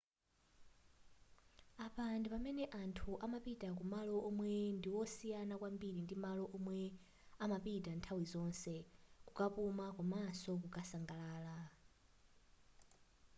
apa ndi pamene anthu amapita kumalo omwe ndiwosiyana kwambiri ndi malo omwe amapita nthawi zonse kukapuma komaso kukasangalala